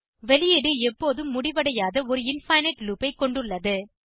வெளியீடு எப்போதும் முடிவடையாத ஒரு இன்ஃபினைட் லூப் ஐ கொண்டுள்ளது